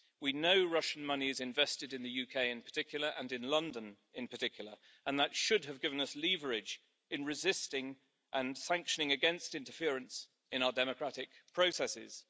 We know Russian money is invested in the UK in particular and in London in particular and that should have given us leverage in resisting and sanctioning against interference in our democratic processes.